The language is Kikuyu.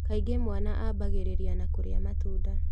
Kaingĩ mwana ambagĩrĩria na kũrĩa matunda